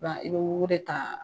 Ba i bɛ wugu de ta